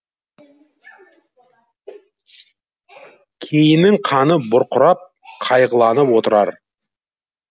кейінің қаны бұрқырап қайғыланып отырар